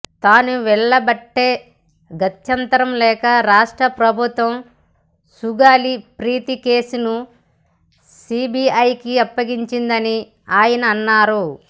తాను వెళ్లబట్టే గత్యంతరం లేక రాష్ట్ర ప్రభుత్వం సుగాలీ ప్రీతి కేసును సిబీఐకి అప్పగించిందని ఆయన అన్నారు